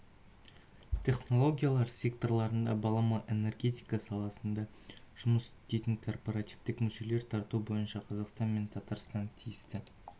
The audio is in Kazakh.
технологиялар секторларында балама энергетика саласында жұмыс істейтін корпоративтік мүшелерін тарту бойынша қазақстан мен татарстан тиісті